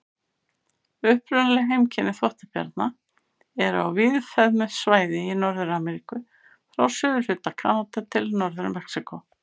Upprunaleg heimkynni þvottabjarna eru á víðfeðmu svæði í Norður-Ameríku, frá suðurhluta Kanada til Norður-Mexíkó.